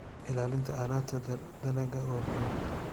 Ilaalinta alaabta dalagga waa muhiim.